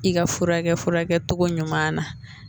I ka furakɛ cogo ɲuman na